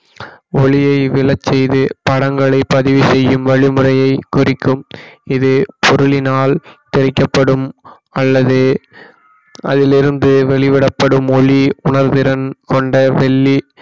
ஒளியை விழச்செய்து படங்களை பதிவு செய்யும் வழி முறையை குறிக்கும் இது பொருளினால் பிரிக்கப்படும் அல்லது அதிலிருந்து வெளிவிடப்படும் ஒளி உணர்திறன் கொண்ட வெள்ளி